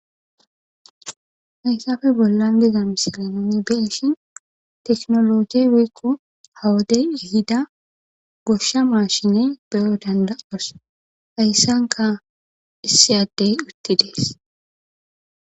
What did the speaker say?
haysafe bollan biza misalenani beshi teknologiey weykko hawadey yuhida goshsha maashine beyo danda7as hayssanka issiyaddey utti dees